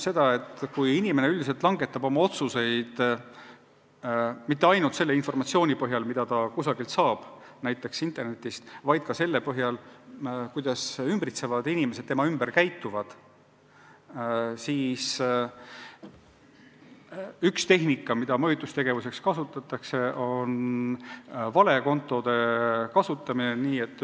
See tähendab seda, et kui inimene üldiselt langetab oma otsuseid mitte ainult selle informatsiooni põhjal, mida ta kusagilt saab, näiteks internetist, vaid ka selle põhjal, kuidas inimesed tema ümber käituvad, siis üks vahend, mis mõjutustegevuseks käiku läheb, on valekontode kasutamine.